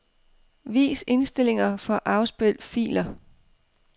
Vis indstillinger for afspil filer.